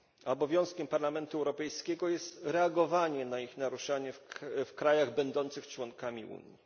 Obowiązkiem Parlamentu Europejskiego jest reagowanie na ich naruszanie w krajach będących członkami Unii.